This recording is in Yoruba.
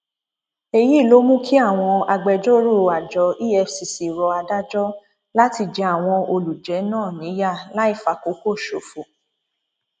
èyí ló mú kí àwọn agbẹjọrò àjọ efcc rọ adájọ láti jẹ àwọn olùjẹ náà níyà láì fàkókò ṣòfò